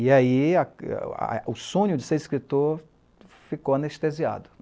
E aí, o sonho de ser escritor ficou anestesiado.